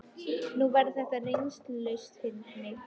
Nú, þetta verður þá áreynslulaust fyrir mig.